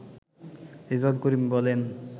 রেজাউল করিম বলেন